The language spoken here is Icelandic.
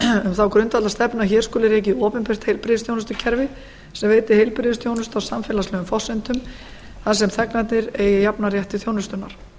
um þá grundvallarstefnu að hér skuli rekið opinbert heilbrigðisþjónustukerfi sem veiti heilbrigðisþjónustu á samfélagslegum forsendum þar sem þegnarnir eigi jafnan rétt til þjónustunnar